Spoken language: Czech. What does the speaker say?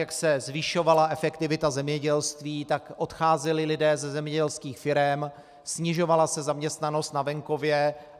Jak se zvyšovala efektivita zemědělství, tak odcházeli lidé ze zemědělských firem, snižovala se zaměstnanost na venkově.